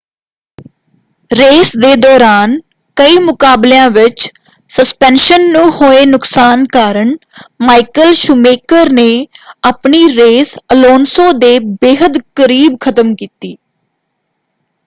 Race ਦੇ ਦੌਰਾਨ ਕਈ ਮੁਕਾਬਲਿਆਂ ਵਿੱਚ ਸਸਪੈਂਸ਼ਨ ਨੂੰ ਹੋਏ ਨੁਕਸਾਨ ਕਾਰਨ ਮਾਈਕਲ ਸ਼ੂਮੇਕਰ ਨੇ ਆਪਣੀ ਰੇਸ ਅਲੋਨਸੋ ਦੇ ਬੇਹੱਦ ਕਰੀਬ ਖ਼ਤਮ ਕੀਤੀ।